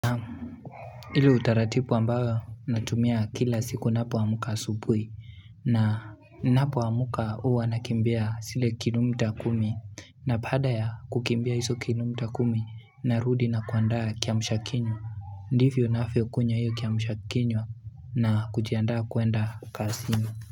Ile utaratibu ambao natumia kila siku napoamka asubuhi na napoamka huwa nakimbia sile kilomita kumi na baada ya kukimbia hiso kilomita kumi narudi na kuandaa kiamsha kinywa ndivyo nafyo kunywa hiyo kiamshakinywa na kujiandaa kuenda kasini.